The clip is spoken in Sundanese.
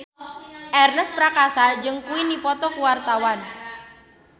Ernest Prakasa jeung Queen keur dipoto ku wartawan